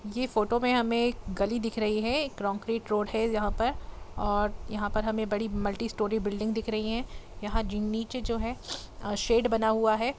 ये फ़ोटो में हमे एक गली दिखे रही हैएक रॉकरेड रोड है जहां पर और मल्टी स्टोर बुलिडिंग दिख रही है यहां नीचे जो है शेड बना हुआ है।